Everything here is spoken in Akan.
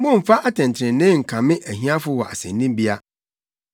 “Mommfa atɛntrenee nkame ahiafo wɔ asennibea.